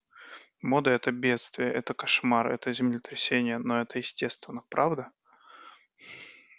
мода это бедствие это кошмар это землетрясение но это естественно правда